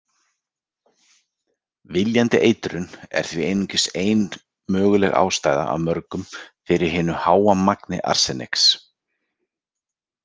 Viljandi eitrun er því einungis ein möguleg ástæða af mörgum fyrir hinu háa magni arseniks.